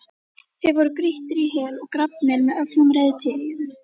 Þeir voru grýttir í hel og grafnir með öllum reiðtygjum.